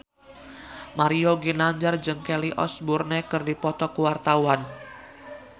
Mario Ginanjar jeung Kelly Osbourne keur dipoto ku wartawan